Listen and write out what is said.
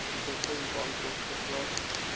insolvent bankrot verklaar